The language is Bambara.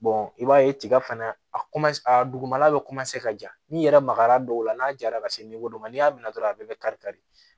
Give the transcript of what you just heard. i b'a ye tiga fana a a dugumala bɛ ka ja n'i yɛrɛ magara dɔw la n'a jara ka se dɔ ma n'i y'a mɛn dɔrɔn a bɛɛ bɛ kari kari